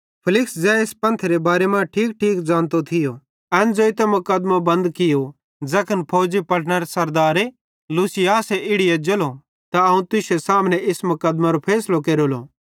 फेलिक्स ज़ै इस पंथेरे बारे मां ठीकठीक ज़ानतो थियो एन ज़ोइतां मुकदमों बंद कियो ज़ैखन फौजी पलटनरो सरदारे लूसियास इड़ी एज्जेलो त अवं तुश्शे सामने इस मुक़दमेरो फैसलो केरेलो